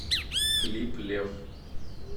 клип лев